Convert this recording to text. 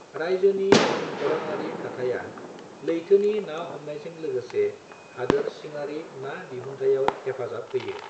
रायजोनि भुमखौरांयारि थाथाया लैथोनि ना हमनायजों लोगोसे हादोर सिङारि ना दिहुथाइआव हेफाजाब होयो।